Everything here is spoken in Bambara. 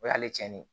O y'ale cɛnni ye